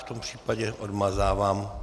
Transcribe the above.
V tom případě odmazávám.